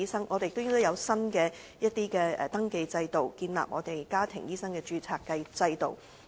政府亦應制訂新的登記制度，建立香港家庭醫生註冊制度。